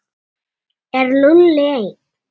Er Lúlli einn?